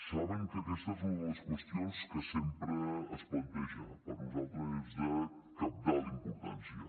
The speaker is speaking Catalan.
saben que aquesta és una de les qüestions que sempre es planteja per nosaltres és de cabdal importància